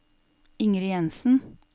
Ingrid Jenssen